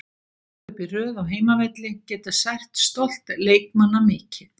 Tvö töp í röð á heimavelli geta sært stolt leikmanna mikið.